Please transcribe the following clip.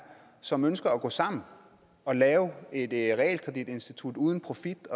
som ønsker at gå sammen og lave et realkreditinstitut uden profit